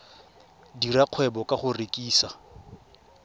dira kgwebo ka go rekisa